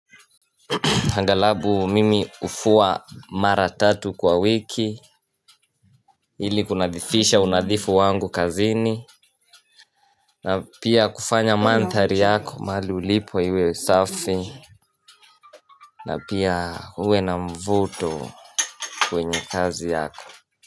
Angalabu mimi hufua mara tatu kwa wiki, ili kunadhifisha unadhifu wangu kazini, na pia kufanya mandhari yako, mahali ulipo iwe usafi, na pia uwe na mvuto kwenye kazi yako.